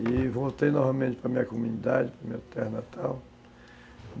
E voltei novamente para minha comunidade, para minha terra natal.